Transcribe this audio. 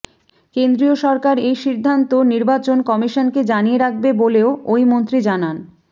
কেন্দ্রীয় সরকার এই সিদ্ধান্ত নির্বাচন কমিশনকে জানিয়ে রাখবে বলেও ওই মন্ত্রী জানান